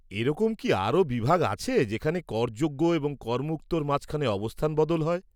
এরকম কি আরও বিভাগ আছে যেখানে করযোগ্য এবং করমুক্তর মাঝখানে অবস্থান বদল হয়?